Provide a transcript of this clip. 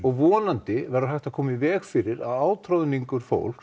vonandi verður hægt að koma í veg fyrir að átroðningur fólks